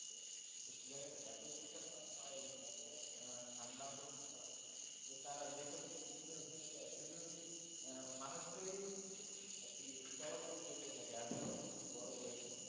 সে সব জায়গাতে এত তুষারপাত হয় এবং এত ঠান্ডা প্রবন থাকে যে তারা যেসব জিনিস নিয়ে ওখানে যায় শুধু মানুষটাই আর কি চলাচলের যোগ্য থাকে আর সবকিছু বরফ হয়ে যায়।